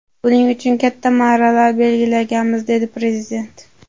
Buning uchun katta marralar belgilaganmiz”, dedi Prezident.